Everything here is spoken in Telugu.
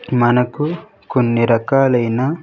మనకు కొన్ని రకాలైన.